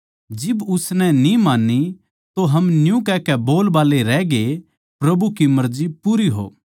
जिब उसनै न्ही मान्नी तो हम न्यू कहकै बोलबाल्ले रहगे प्रभु की मर्जी पूरी हो